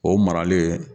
O maralen